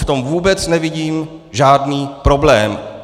V tom vůbec nevidím žádný problém.